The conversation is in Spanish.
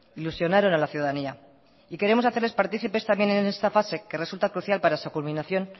ilusionaron a la ciudadanía y queremos hacerles partícipes también en esta fase que resulta crucial para su culminación